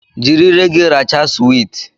Jiri ire gị rachaa suwiti!